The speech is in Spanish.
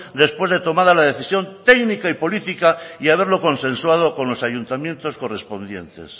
después de tomada la decisión técnica y política y haberlo consensuado con los ayuntamientos correspondientes